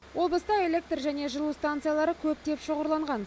облыста электр және жылу станциялары көптеп шоғырланған